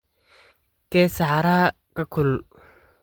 kee saxaraha ka kulul